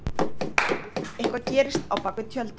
Eitthvað gerist á bak við tjöldin